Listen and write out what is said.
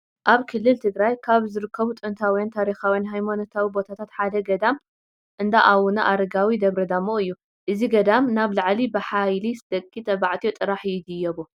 ኣብ ክልል ትግራይ ካብ ዝርከቡ ጥንታውን ታሪካውን ሃይማኖታዊ ቦታታት ሓደ ገዳም እንዳኣውነ ኣረጋዊ ደብረ ዳሞ እዩ፡፡ እዚ ገዳም ናብ ላዕሊ ብሓብሊ ደቂ ተ/ዮ ጥራሕ ይድይቡ